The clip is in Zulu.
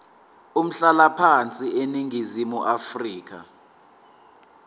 umhlalaphansi eningizimu afrika